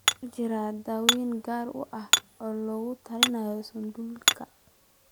Ma jirto daaweyn gaar ah oo loogu talagalay sialidosika.